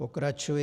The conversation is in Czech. Pokračuji.